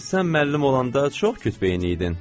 Sən müəllim olanda çox kütbeyin idin.